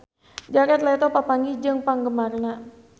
Jared Leto papanggih jeung penggemarna